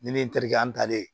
Ni ne ye n terikɛ an talen